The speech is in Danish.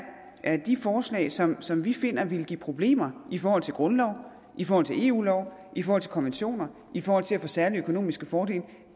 er de forslag som som vi finder ville give problemer i forhold til grundlov i forhold til eu lov i forhold til konventioner i forhold til at få særlige økonomiske fordele